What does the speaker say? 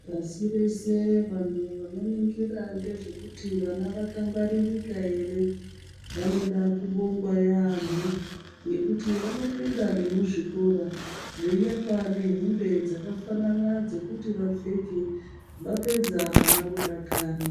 Pasi rese vantu vanoringire nezvekuti vana vakangwaririka here vanoda kubongwa yaamo nekuti vanopinda nekuzvikora weiapa nehembe dzakafanana dzekuti vapfeke vapedza vana vodakara.